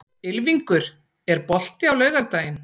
Ylfingur, er bolti á laugardaginn?